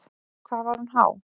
Hvað var hún há?